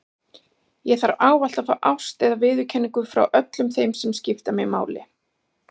Ég þarf ávallt að fá ást eða viðurkenningu frá öllum þeim sem skipta mig máli.